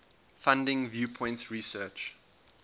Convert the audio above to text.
funding viewpoints research